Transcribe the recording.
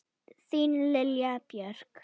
Þín Lilja Björk.